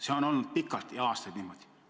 See on olnud pikalt, aastaid niimoodi.